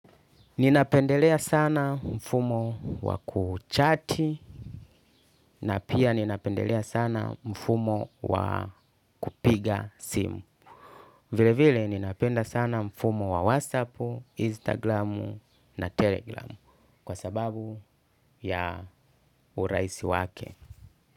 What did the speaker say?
Ninapendelea sana mfumo wa kuchati na pia ninapendelea sana mfumo wa kupiga simu. Vile vile ninapenda sana mfumo wa watsapu, instagramu na telegramu kwa sababu ya urahisi wake.